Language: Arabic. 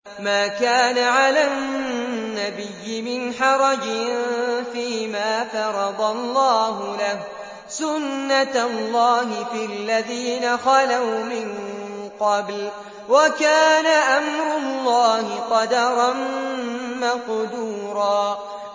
مَّا كَانَ عَلَى النَّبِيِّ مِنْ حَرَجٍ فِيمَا فَرَضَ اللَّهُ لَهُ ۖ سُنَّةَ اللَّهِ فِي الَّذِينَ خَلَوْا مِن قَبْلُ ۚ وَكَانَ أَمْرُ اللَّهِ قَدَرًا مَّقْدُورًا